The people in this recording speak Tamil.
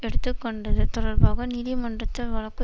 எடுத்து கொண்டது தொடர்பாக நீதிமன்றத்தில் வழக்கு